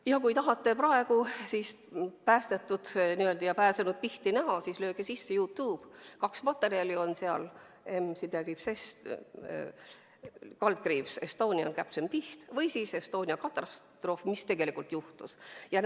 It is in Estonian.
Ja kui tahate praegu päästetud ja n-ö pääsenud Pihti näha, siis lööge sisse YouTube'i – kaks materjali on seal – "M/S Estonia Captain Piht" või "Estonia katastroof – Mis tegelikult juhtus?".